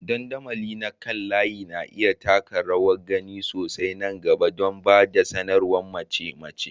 Dandamali na kan layi na iya taka rawar gani sosai a nan gaba don ba da sanarwar mace-mace.